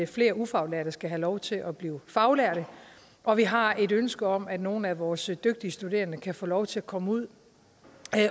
flere ufaglærte skal have lov til at blive faglærte og vi har et ønske om at nogle af vores dygtige studerende kan få lov til at komme ud